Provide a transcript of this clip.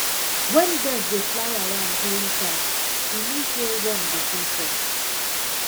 when birds dey fly around during chant e mean say rain go soon fall